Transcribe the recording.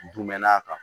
Dun mɛn'a kan